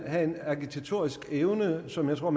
have en agitatorisk evne som jeg tror